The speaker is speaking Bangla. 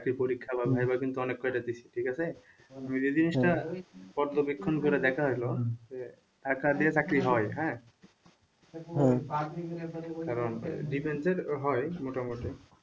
চাকরির পরীক্ষা বা viva কিন্তু অনেক কয়টা দিসি ঠিক আছে। যে জিনিসটা পর্যবেক্ষণ করে দেখা হল যে টাকা দিয়ে চাকরি হয় হ্যাঁ কারণ defense এর হয় মোটামুটি।